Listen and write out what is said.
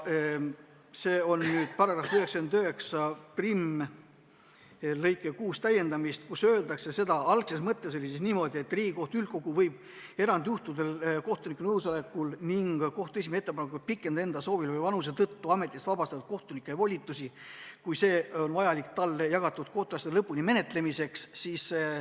Tegu on § 991 täiendamisega lõikega 6, kus algul öeldi seda, et Riigikohtu üldkogu võib erandjuhtudel kohtuniku nõusolekul ning kohtu esimehe ettepanekul pikendada enda soovil või vanuse tõttu ametist vabastatud kohtuniku volitusi, kui see on vajalik talle jagatud kohtuasjade lõpuni menetlemiseks.